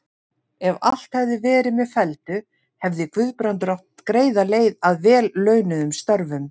Ef allt hefði verið með felldu, hefði Guðbrandur átt greiða leið að vel launuðum störfum.